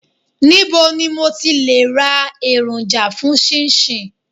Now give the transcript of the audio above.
Níbo ni mo ti le ra èròjà fún 'chinchin'?